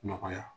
Nɔgɔya